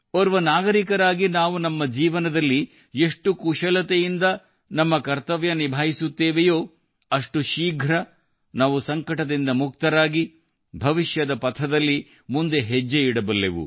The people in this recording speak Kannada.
ಓರ್ವ ನಾಗರಿಕರಾಗಿ ನಾವು ನಮ್ಮ ಜೀವನದಲ್ಲಿ ಎಷ್ಟು ಕುಶಲತೆಯಿಂದ ನಮ್ಮ ಕರ್ತವ್ಯ ನಿಭಾಯಿಸುತ್ತೇವೋ ಅಷ್ಟು ಶೀಘ್ರ ನಾವು ಸಂಕಟದಿಂದ ಮುಕ್ತರಾಗಿ ಭವಿಷ್ಯದ ಪಥದಲ್ಲಿ ಮುಂದೆ ಹೆಜ್ಜೆ ಇಡಬಲ್ಲೆವು